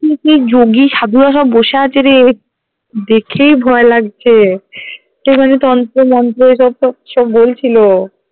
কি যোগী সাধুরা সব বসে আছে রে দেখেই ভয় লাগছে সে যেন তন্ত্র মন্ত্র ওই সবতো কিসব বলছিলো